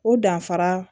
O danfara